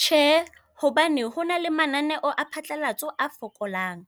Tjhe, hobane hona le mananeo a phatlalatso a fokolang.